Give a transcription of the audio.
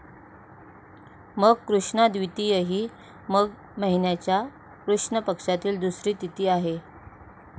मग कृष्णा द्वितीय ही मग महिन्याच्या कृष्ण पक्षातील दुसरी तिथी आहे.